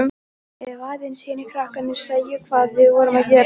Ef aðeins hinir krakkarnir sæju hvað við vorum að gera.